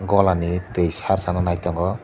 golani twi sarsana nai tongo.